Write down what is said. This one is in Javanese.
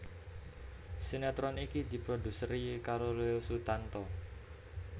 Sinetron iki diproduseri karo Leo Sutanto